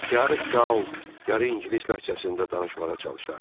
Yarı qal, yarı ingilis ləhcəsində danışmağa çalışardı.